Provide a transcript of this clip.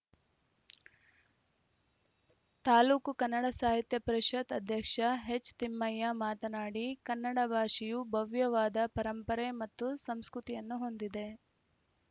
ತಾಲೂಕು ಕನ್ನಡ ಸಾಹಿತ್ಯ ಪರಿಷತ್‌ ಅಧ್ಯಕ್ಷ ಎಚ್‌ತಿಮ್ಮಯ್ಯ ಮಾತನಾಡಿ ಕನ್ನಡ ಭಾಷೆಯು ಭವ್ಯವಾದ ಪರಂಪರೆ ಮತ್ತು ಸಂಸ್ಕೃತಿಯನ್ನು ಹೊಂದಿದೆ